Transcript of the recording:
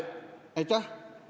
Aitäh!